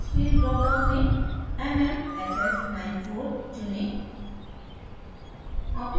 force field drop down में mmff94 चुनें